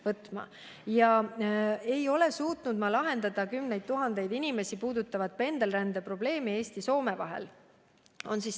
Viimasena väidate, et ma ei ole suutnud lahendada kümneid tuhandeid inimesi puudutavat pendelrände probleemi Eesti ja Soome vahel.